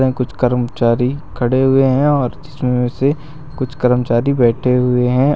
कुछ कर्मचारी खड़े हुए हैं और जिसमें से कुछ कर्मचारी बैठे हुए हैं।